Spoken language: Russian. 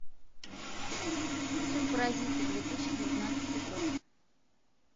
фильм паразиты две тысячи девятнадцатый год